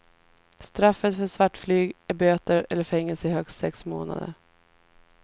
Straffet för svartflyg är böter eller fängelse i högst sex månader.